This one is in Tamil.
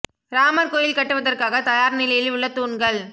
ராமர் கோயில் கட்டுவதற்காக தயார் நிலையில் உள்ள தூண்கள்